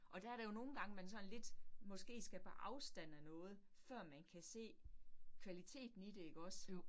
Og der det jo nogle gange, man sådan lidt måske skal på afstand af noget før man kan se kvaliteten i det ikke også